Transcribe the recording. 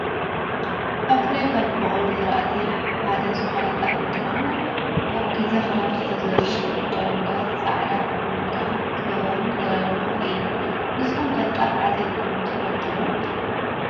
ኣብ ትግራይ ካብ ዝቦቅሉ ዝራእቲ ሓደ ዝኮነ ጣፍ እንትከውን ኣብ ግዜ ክረምቲ ተዘሪኡ ቦቁሉ፣ ተዓፂዱ ቁሚጦ ክገብርዎ ዝተዳለወ እክሊ እዩ። ንስኩም ከ ጣፍ ዓፂድኩም ትፈልጡ ዶ?